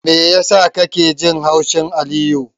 Me yasa kake jin haushin Aliyu?